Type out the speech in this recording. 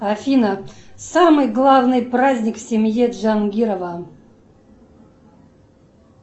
афина самый главный праздник в семье джангирова